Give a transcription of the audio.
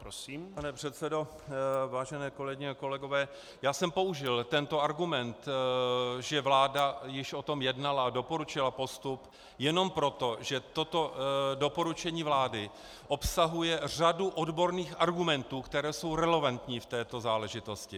Pane předsedo, vážené kolegyně a kolegové, já jsem použil tento argument, že vláda již o tom jednala a doporučila postup jenom proto, že toto doporučení vlády obsahuje řadu odborných argumentů, které jsou relevantní v této záležitosti.